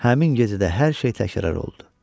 Həmin gecə də hər şey təkrar oldu.